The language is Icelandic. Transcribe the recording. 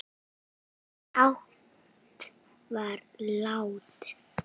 hátt var látið